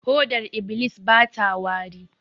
Hodar iblis bata wari